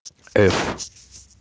ф